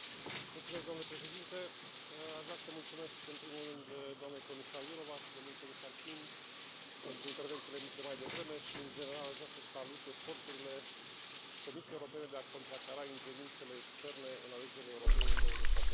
Domnule președinte, aș vrea să mulțumesc în primul rând doamnei comisar Jourová și domnului comisar King pentru intervențiile de mai devreme și, în general, aș vrea să salut eforturile Comisiei Europene de a contracara ingerințele externe în alegerile europene din 26 mai.